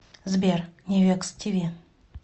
сбер невекс ти ви